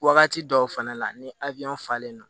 Wagati dɔw fɛnɛ la ni a bi ɲɔn falen non